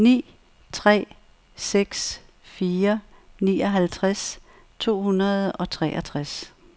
ni tre seks fire nioghalvtreds to hundrede og treogtres